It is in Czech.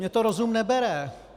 Mně to rozum nebere.